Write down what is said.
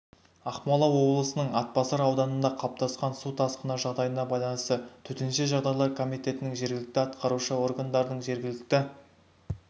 ақмола облысының атбасар ауданында қалыптасқан су тасқыны жағдайына байланысты төтенше жағдайлар комитетінің жергілікті атқарушы органдардың жергілікті